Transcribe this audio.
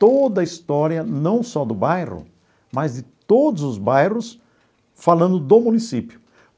toda a história, não só do bairro, mas de todos os bairros, falando do município.